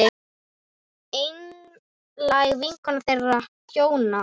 Einlæg vinkona þeirra hjóna.